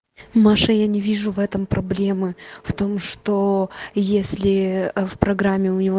маша я не вижу в этом проблемы в том что если в программе у него